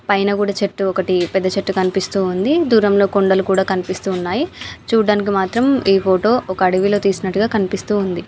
పైన కూడా చెట్టు ఒకటి పెద్ద చెట్టు కనిపిస్తు ఉంది. దూరంలో కొండలు కూడా కనిపిస్తూ ఉన్నాయి. చూడడానికి మాత్రము. ఈ ఫోటో ఒక అడవిలో తీసినట్టుగా కనిపిస్తుంది.